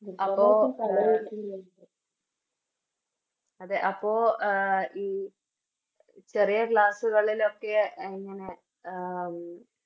അവിടെ അതെ അപ്പൊ ആഹ് ഈ ചെറിയ Class കളിലൊക്കെ ഇങ്ങനെ എ ഈ